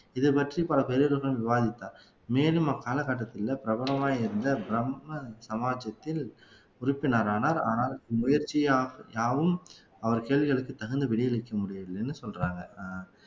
இது பற்றி பல பெரியவர்களுடன் விவாதித்தார் மேலும் அக்காலகட்டத்தில பிரபலமாக இருந்த பிரம்ம சமாஜ்ஜியத்தில் உறுப்பினரானார் ஆனால் முயற்சி யாவும் அவர் கேள்விகளுக்கு தகுந்த விடை அளிக்க முடியவில்லைன்னு சொல்றாங்க அஹ்